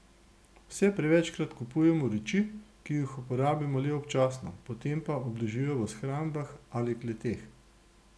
Vse prevečkrat kupujemo reči, ki jih uporabimo le občasno, potem pa obležijo v shrambah ali kleteh.